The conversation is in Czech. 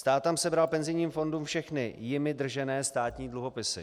Stát tam sebral penzijním fondům všechny jimi držené státní dluhopisy.